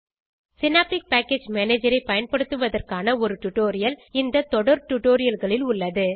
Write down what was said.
synaptic package manager ஐ பயன்படுத்துவதற்கான ஒரு டுடோரியல் இந்த தொடர் டுடோரியல்களில் உள்ளது